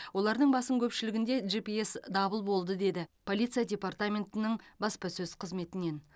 олардың басым көпшілігінде жипиэс дабыл болды деді полиция департаментінің баспасөз қызметінен